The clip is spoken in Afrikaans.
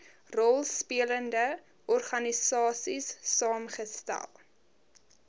rolspelende organisaies saamgestel